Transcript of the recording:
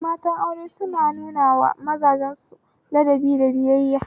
Matan aure suna nunawa mazajen su ladabi da biyayya